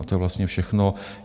A to je vlastně všechno.